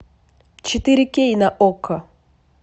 четыре кей на окко